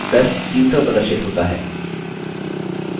फिर से उत्तर 300 प्रदर्शित होता है